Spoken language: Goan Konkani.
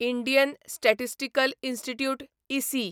इंडियन स्टॅटिस्टिकल इन्स्टिट्यूट इसी